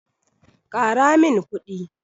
Ƙara min kuɗi.